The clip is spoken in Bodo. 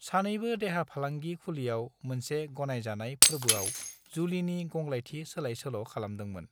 सानैबो देहा फालांगि खुलियाव मोनसे गनायजानाय फोर्बोआव जुलिनि गंग्लायथि सोलाय-सोल' खालामदोंमोन।